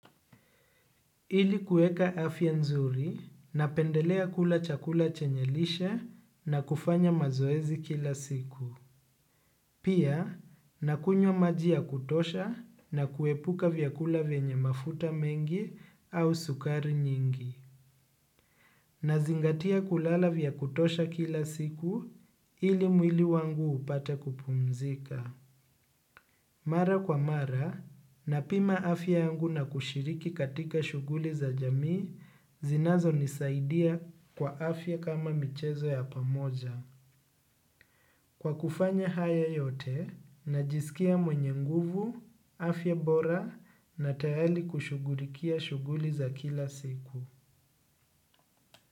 Ili kuweka afya nzuri napendelea kula chakula chenye lishe na kufanya mazoezi kila siku. Pia, na kunywa maji ya kutosha na kuepuka vyakula venye mafuta mengi au sukari nyingi. Nazingatia kulala vya kutosha kila siku ili mwili wangu upate kupumzika. Mara kwa mara napima afya yangu na kushiriki katika shuguli za jamii zinazonisaidia kwa afya kama michezo ya pamoja. Kwa kufanya haya yote najisikia mwenye nguvu, afya bora na tayari kushughulikia shuguli za kila siku.